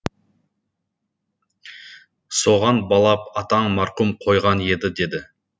соған балап атаң марқұм қойған еді деді